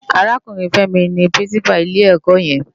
Árákúrin Femi ni Pirinsipá ilé èkò yèn